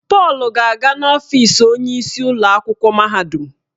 Paul ga-aga n'ọfịs onyeisi ụlọ akwụkwọ mahadum.